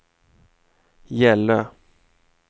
Gällö